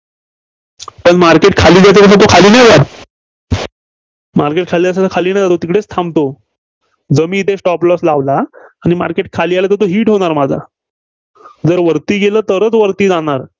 पण market खाली जाताना तो खाली नाही जात. market खाली जाताना खाली नाही जात तिकडे थांबतो. जो मी येथे stop loss लावला आणि market खाली आलं तर hit होणार माझा. जर वरती गेलं तरच वरती जाणार.